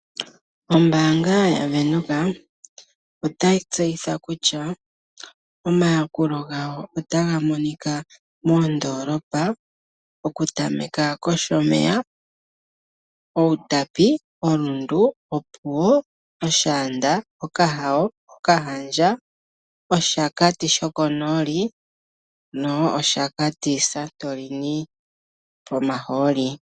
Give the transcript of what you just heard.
Ombaanga yaVenduka otayi tseyithile kutya omayakulo gawo otaga monika moondoolopa oku tameka koshomeya, Outapi, oRundu ,oPuwo, oShaanda, oKahawo, oKahandja, oShakati shokonooli nopo Shakati satoleni pomahooli.